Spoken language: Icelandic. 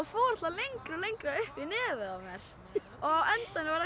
fór alltaf lengra og lengra upp í nefið á mér á endanum var það